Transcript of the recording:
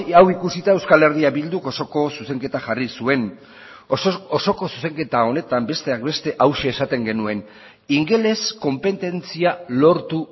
hau ikusita euskal herria bilduk osoko zuzenketa jarri zuen osoko zuzenketa honetan besteak beste hauxe esaten genuen ingeles konpetentzia lortu